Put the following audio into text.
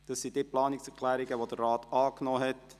Dies sind die Planungserklärungen, die der Rat angenommen hat.